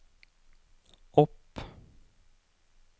opp